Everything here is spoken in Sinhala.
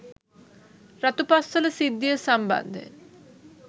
රතුපස්වල සිද්ධිය සම්බන්ධයෙන්